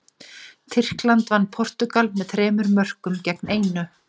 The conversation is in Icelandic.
Tyrkland vann Portúgal með þremur mörkum gegn einu.